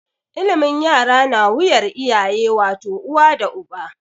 Ilimin yara na wuyar iyaye wato, uwa da uba.